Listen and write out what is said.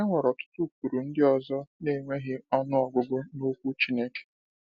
E nwere ọtụtụ ụkpụrụ ndị ọzọ na-enweghị ọnụ ọgụgụ n’Okwu Chineke.